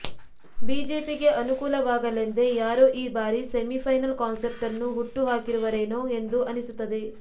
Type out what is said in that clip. ಬಿಜೆಪಿಗೆ ಅನು ಕೂಲವಾಗಲೆಂದೇ ಯಾರೋ ಈ ಬಾರಿ ಸೆಮಿಫೈನಲ್ ಕಾನ್ಸೆಪ್ಟನ್ನು ಹುಟ್ಟು ಹಾಕಿರುವರೇನೋ ಎಂದು ಅನಿಸುತ್ತದೆ